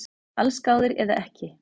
Allsgáðir eða ekki